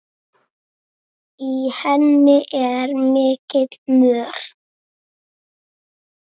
Í henni er mikill mör.